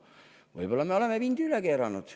Võib-olla me oleme vindi üle keeranud.